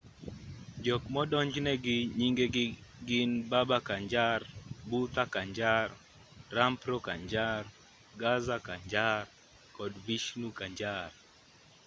jok modonjnegi nyingegi gin baba kanjar bhutha kanjar rampro kanjar gaza kanjar kod vishnu kanjar